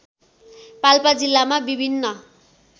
पाल्पा जिल्लामा विभिन्न